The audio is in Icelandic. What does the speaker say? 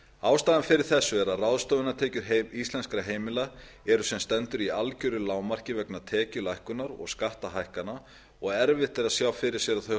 ástæðan fyrir þessu er að ráðstöfunartekjur íslenskra heimila eru sem stendur í algjöru lágmarki vegna tekjulækkunar og skattahækkana og erfitt að sjá fyrir sér að þau